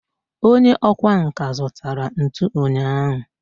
onye okwá nkà zutara ntu unyahu